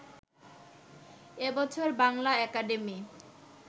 এ বছর বাংলা একাডেমি